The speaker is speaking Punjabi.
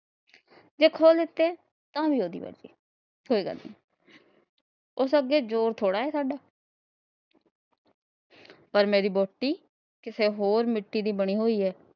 ਜੇ ਕੋਹ ਲੱਤੇ ਤਾਂ ਵੀ ਉਹਦੀ ਮਰਜ਼ੀ ਕੋਈ ਗੱਲ ਨੀ। ਉਸ ਅੱਗੇ ਜ਼ੋਰ ਥੋੜਾ ਏ ਸਾਡਾ ਪਰ ਮੇਰੀ ਵੋਹਟੀ ਕਿਸੇ ਹੋਰ ਮਿੱਟੀ ਦੀ ਬਨੀ ਹੋਈ ਏ,